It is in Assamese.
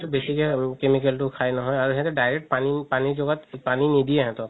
বেচিকে chemical তো খাই নহয় আৰু সেহেতে direct পানি লগত পানি নিদিয়ে সেহেতক